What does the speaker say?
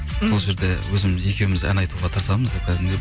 сол жерде өзіміз екеуіміз ән айтуға тырысамыз деп кәдімгідей